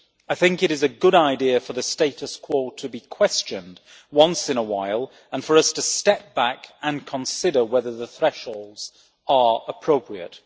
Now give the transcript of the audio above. I think it is a good idea for the status quo to be questioned once in a while, and for us to step back and consider whether the thresholds are appropriate.